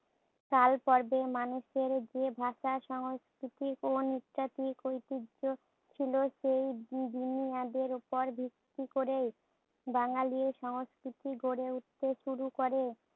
কালপর্বে মানুষের যে ভাষা সংস্কৃতি ও ঐতিহ্য ছিল সেই বু বুনিয়াদের ওপর ভিত্তি করেই বাঙ্গালির সংস্কৃতি গড়ে উঠতে শুরু করে।